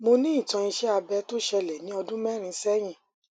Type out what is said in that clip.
mo ní ìtàn iṣé abẹ tó ṣẹlẹ ní ọdún mẹrin sẹyìn